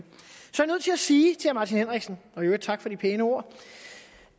sige til herre martin henriksen og i øvrigt tak for de pæne ord